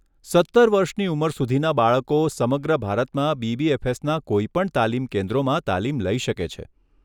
સત્તર વર્ષની ઉંમર સુધીના બાળકો સમગ્ર ભારતમાં બીબીએફએસના કોઈપણ તાલીમ કેન્દ્રોમાં તાલીમ લઈ શકે છે.